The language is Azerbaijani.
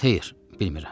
Xeyr, bilmirəm.